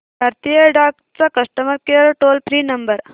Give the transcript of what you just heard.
भारतीय डाक चा customer care toll free number